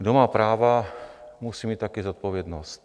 Kdo má práva, musí mít také zodpovědnost.